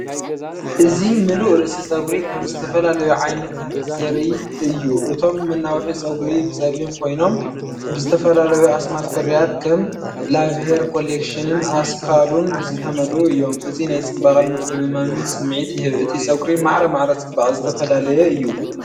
እዚ ምሉእ ርእሲ ጸጉሪ ከም ዝተፈላለዩ ዓይነታት ዘርኢ እዩ። እቶም መናውሒ ጸጉሪ ብጸሊም ኮይኖም ብዝተፈላለዩ ኣስማት ፍርያት ከም"ላቭ ሄር ኮሌክሽንን ኣስካሉን"ዝተመልኡ እዮም። እዚ ናይ ጽባቐን ምትእምማንን ስምዒት ይህብ። እቲ ጸጕሪ ማዕረ ማዕረ ጽባቐ ዝተፈላለየ እዩ።